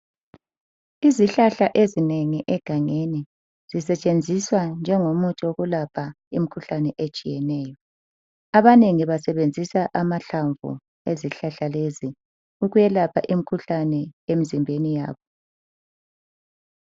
Izihlahla ezinengi egangeni zisetshenziswa njengomuthi wokulapha imikhuhlane etshiyeneyo. Abanengi basebenzisa amahlamvu ezihlahla lezi ukwelapha imikhuhlane emizimbeni yabo